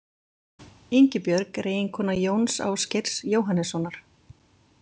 Ingibjörg er eiginkona Jóns Ásgeirs Jóhannessonar.